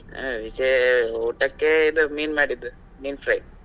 ಹ ವಿಶೇ~ ಊಟಕೆ ಇದು ಮೀನು ಮಾಡಿದ್ದೂ ಮೀನ್ fry .